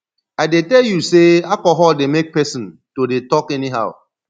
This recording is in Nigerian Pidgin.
i dey tell you sey alcohol dey make pesin to dey talk anyhow